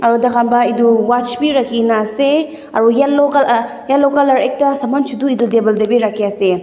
aru tai khan para etu watch be rakhi ke na ase aru yellow colour yellow colour ekta saman chotu ekta table teh be rakhi ase.